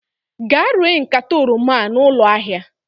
Gaa ree nkata oroma a na ụlọ ahịa!